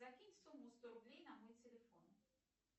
закинь сумму сто рублей на мой телефон